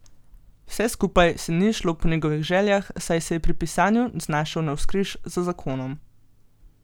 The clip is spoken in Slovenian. Vse skupaj se ni izšlo po njegovih željah, saj se je pri pisanju znašel navzkriž z zakonom.